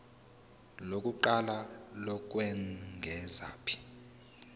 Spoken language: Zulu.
lokuqala lokwengeza p